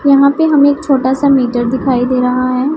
यहां पे हमें एक छोटा सा मीटर दिखाई दे रहा है।